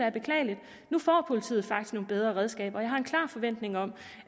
er beklageligt nu får politiet faktisk nogle bedre redskaber og jeg har en klar forventning om